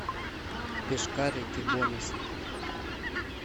пешкарики бонусы